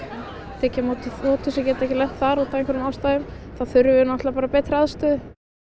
tekið á móti þotu sem getur ekki lent þar af einhverjum ástæðum þá þurfum við náttúrulega bara betri aðstöðu